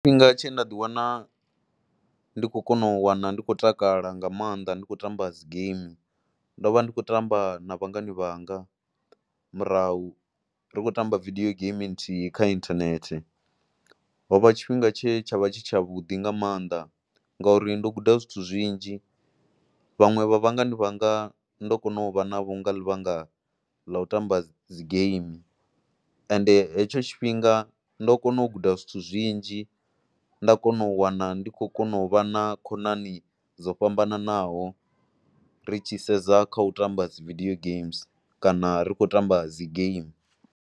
Tshifhinga tshe nda ḓiwana ndi khou kona u wana ndi khou takalela nga maanḓa ndi khou tamba dzi game ndo vha ndi khou tamba na vhangana vhanga murahu, ri khou tamba video game nthihi kha inthanethe. Ho vha tshifhinga tshe tsha vha tshavhuḓi nga maanḓa ngauri ndo guda zwithu zwinzhi, vhaṅwe vha vhangana vhanga ndo kona u vha navho nga ḽivhanga ḽa u tamba dzi game ende hetsho tshifhinga ndo kona u guda zwithu zwinzhi, nda kona u wana ndi khou kona u vha na khonani dzo fhambananaho ri tshi sedza kha u tamba dzi vidio gamea kana ri khou tamba dzi game.